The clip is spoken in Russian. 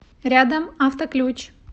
рядом автоключ